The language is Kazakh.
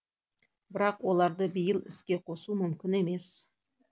бірақ оларды биыл іске қосу мүмкін емес